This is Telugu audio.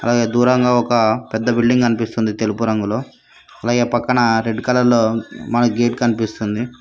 అలాగే దూరంగా ఒక పెద్ద బిల్డింగ్ అనిపిస్తుంది తెలుపు రంగులో అలాగే పక్కన రెడ్ కలర్ లో మనికి గేట్ కనిపిస్తుంది.